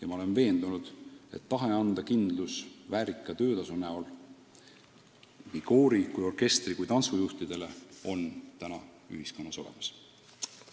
Aga olen veendunud, et tahe anda kindlus väärika töötasu näol nii koori-, orkestri- kui ka tantsujuhtidele on ühiskonnas olemas.